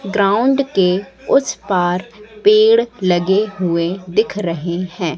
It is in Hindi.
ग्राउंड के उस पार पेड़ लगे हुए दिख रहे हैं।